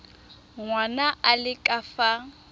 ngwana a le ka fa